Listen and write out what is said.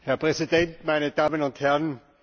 Herr Präsident, meine Damen und Herren!